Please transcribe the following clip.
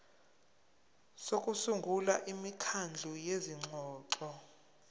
sokusungula imikhandlu yezingxoxo